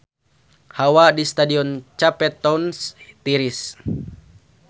Hawa di Stadion Cape Town tiris